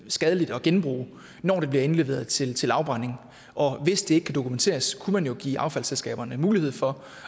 skadeligt at genbruge når det bliver indleveret til til afbrænding og hvis det ikke kan dokumenteres kunne man jo give affaldsselskaberne mulighed for